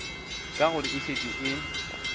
ka gore e šetše e